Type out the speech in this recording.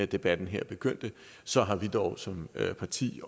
debatten her begyndte så har vi dog som parti